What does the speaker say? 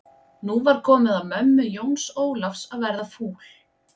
Nú var komið að mömmu Jóns Ólafs að verða fúl.